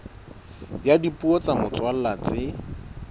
ya dipuo tsa motswalla tse